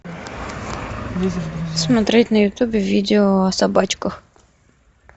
смотреть на ютубе видео о собачках